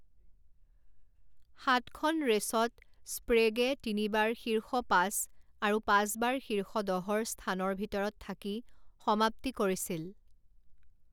সাতখন ৰেচত স্প্ৰেগে তিনিবাৰ শীৰ্ষ পাঁচ আৰু পাঁচবাৰ শীৰ্ষ দহৰ স্থানৰ ভিতৰত থাকি সমাপ্তি কৰিছিল।